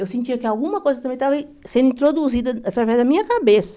Eu sentia que alguma coisa também estava sendo introduzida através da minha cabeça.